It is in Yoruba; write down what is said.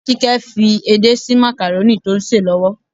Kíkẹ́ fi edé sí makarónì tó ń sè lọ́wọ́.